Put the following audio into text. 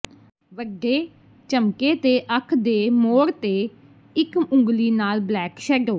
ਵੱਡੇ ਝਮੱਕੇ ਤੇ ਅੱਖ ਦੇ ਮੋੜ ਤੇ ਇੱਕ ਉਂਗਲੀ ਨਾਲ ਬਲੈਕ ਸ਼ੈਡੋ